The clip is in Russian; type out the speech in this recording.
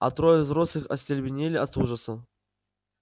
а трое взрослых остолбенели от ужаса